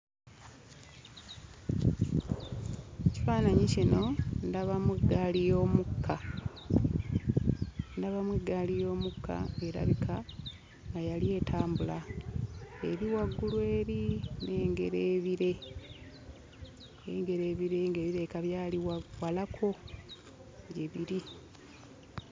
Mu kifaananyi kino ndabamu ggaali y'omukka, ndabamu eggaali y'omukka ng'erabika nga yali etambula. Eri waggulu eri nnengera ebire, nnengera ebire nga birabika byali wa walako gye biri.